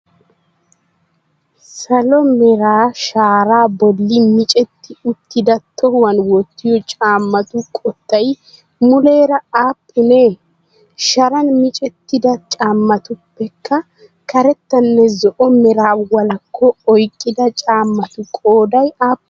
Salo mera sharaa bolli micetti uttida tohuwan wottiyoo caammatu qottay muleera aappunee? Sharan micettida caammatuppekarettanno zo'o meraa walakko oyiqqida caammatu qoodayi aappunee?